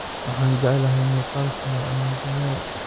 Waxaan jeclahay muuqaalka cunnadayada.